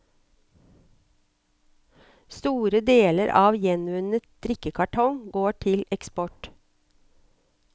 Store deler av gjenvunnet drikkekartong går til eksport.